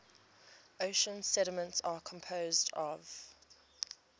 ocean sediments are composed of